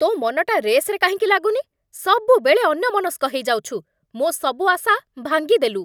ତୋ ମନଟା ରେସ୍‌ରେ କାହିଁକି ଲାଗୁନି? ସବୁବେଳେ ଅନ୍ୟମନସ୍କ ହେଇଯାଉଛୁ । ମୋ' ସବୁ ଆଶା ଭାଙ୍ଗିଦେଲୁ ।